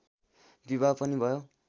विवाह पनि भयो